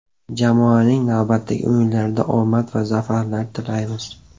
Jamoaning navbatdagi o‘yinlarida omad va zafarlar tilaymiz.